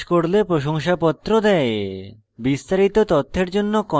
online পরীক্ষা pass করলে প্রশংসাপত্র দেয়